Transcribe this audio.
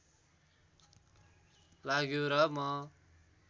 लाग्यो र म